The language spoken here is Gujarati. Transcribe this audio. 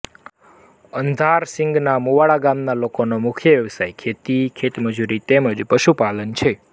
અંધારસીંગના મુવાડા ગામના લોકોનો મુખ્ય વ્યવસાય ખેતી ખેતમજૂરી તેમ જ પશુપાલન છે